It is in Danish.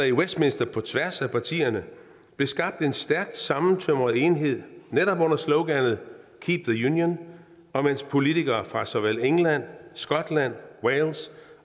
i westminster på tværs af partierne skabt en stærk sammentømret enhed netop under sloganet keep the union og politikere fra såvel england skotland wales